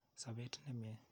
Sopet nemye.